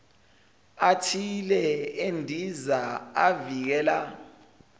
athile endiza avikela